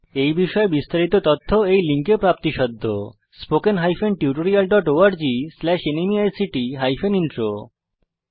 এই বিষয়ে বিস্তারিত তথ্য এই লিঙ্কে প্রাপ্তিসাধ্য spoken hyphen tutorial dot org slash ন্মেইক্ট হাইফেন ইন্ট্রো